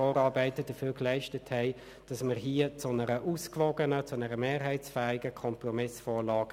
Dabei geht es um eine rein redaktionelle